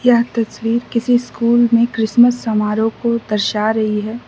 यह तस्वीर किसी स्कूल में क्रिसमस समारोह को दर्शा रही है।